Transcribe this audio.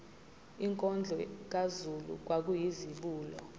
inkondlo kazulu kwakuyizibulo